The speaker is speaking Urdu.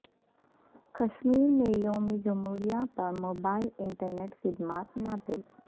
کشمیر میں یوم جمہوریہ پر موبائل انٹرنیٹ خدمات معطل